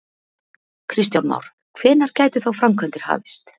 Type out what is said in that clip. Kristján Már: Hvenær gætu þá framkvæmdir hafist?